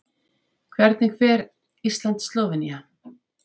Hvernig fer Ísland- Slóvenía?